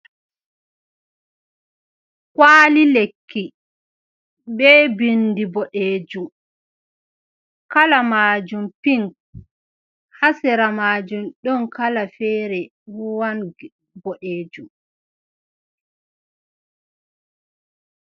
Kwali lekki be bindi boɗejum, kala majum pink, ha sera majum ɗon kala fere ruwan boɗejum.